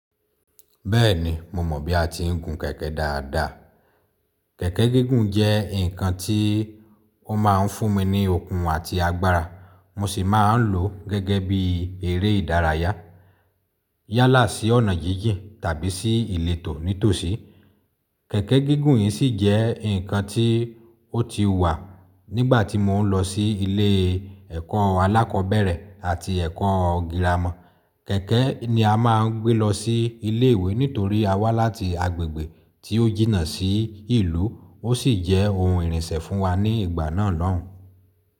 Bẹ́ẹ̀ni, mo mọ̀ bí a ti ń gun kẹ̀kẹ́ dáadáa. Kẹ̀kẹ́ gígùn jẹ́ nǹkan tí ó máa ń fún mi ní okun àti agbára, mo sì máa ń lò ó gẹ́gẹ́ bí eré ìdárayá, yálà sí ọ̀nà jíjìn tàbí sí ìletò nítòsí. Kẹ̀kẹ́ gígùn yìí sì jẹ́ ǹnkan tí ó ti wà nígbà tí mo ń lọ sí ilé ẹ̀kọ́ alákọ̀ọ́bẹ̀rẹ̀ àti ẹ̀kọ́ girama. Kẹ̀kẹ́ ni a máa ń gbé lọ sí ilé ìwé nítorí a wá láti agbègbè tí ó jìnnà sí ìlú, ó sì jẹ́ ohun ìrìnsẹ̀ fún wa ní ìgbà náà lọ́hùn-ún.